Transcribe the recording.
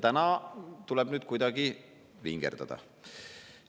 Nüüd tuleb kuidagi vingerdada.